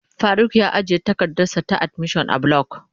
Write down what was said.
Faruk ya ajiye takardarsa ta admission a block.